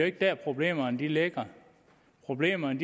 ikke der problemerne ligger problemerne